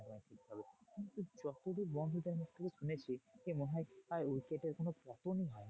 তবে কিন্তু যতদূর বন্ধুদের থেকে শুনেছি মনে হয় আর wicket এর কোনো পতনই হয়নি।